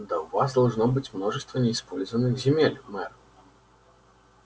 да у вас должно быть множество неиспользованных земель мэр